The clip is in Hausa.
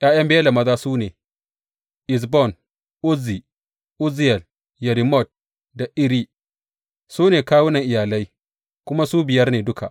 ’Ya’yan Bela maza su ne, Ezbon, Uzzi, Uzziyel, Yerimot da Iri, su ne kawunan iyalai, kuma su biyar ne duka.